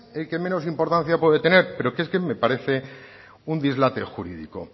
el que menos importancia puede tener pero es que me parece un dislate jurídico